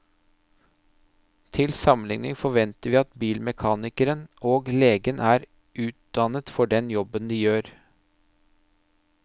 Til sammenligning forventer vi at bilmekanikeren og legen er utdannet for den jobben de gjør.